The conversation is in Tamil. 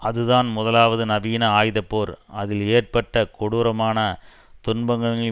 அதுதான் முதலாவது நவீன ஆயுதப்போர் அதில் ஏற்பட்ட கொடூரமான துன்பங்களின்